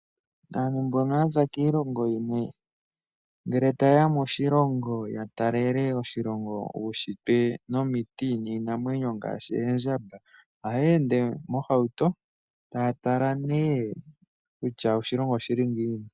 Aantu mbono yaza kiilongo yimwe ngele ta yeya moshilongo ya talele oshilongo uushitwe nomiti niinamwenyo ngaashi Oondjamba ohaya ende mohauto taya tala nee kutya oshilongo oshili ngiini.